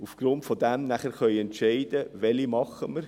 Aufgrund dessen können wir entscheiden, welche wir tätigen.